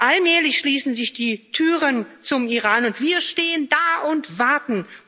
Allmählich schließen sich die Türen zum Iran, und wir stehen da und warten.